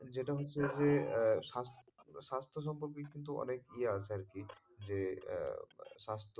যেটা হচ্ছে যে স্বাস্থ্য, স্বাস্থ্য সম্পর্কে কিন্তু অনেক ইয়ে আছে আরকি যে স্বাস্থ্য,